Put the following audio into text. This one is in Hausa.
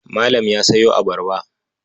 Malam ya sayo abarba.